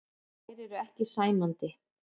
Þær eru ekki sæmandi.